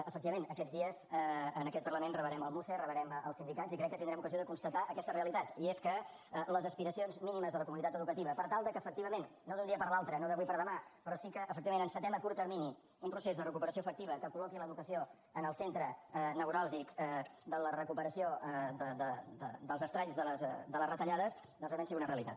efectivament aquests dies en aquest parlament rebrem el muce rebrem els sindicats i crec que tindrem ocasió de constatar aquesta realitat i és que les aspiracions mínimes de la comunitat educativa per tal que efectivament no d’un dia per l’altre no d’avui per demà però sí que efectivament encetem a curt termini un procés de recuperació efectiva que col·loqui l’educació en el centre neuràlgic de la recuperació dels estralls de les retallades doncs realment siguin una realitat